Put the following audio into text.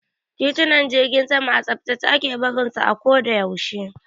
Titunan jirgin sama a tsaftace ake barin su a ko da yaushe.